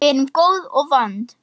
Við erum góð og vond.